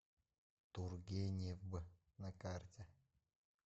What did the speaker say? тургеневъ на карте